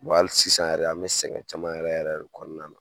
hali sisan yɛrɛ an bɛ sɛgɛn caman yɛrɛ yɛrɛ de kɔnɔna na